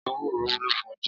Éwúró wúló fún óunjè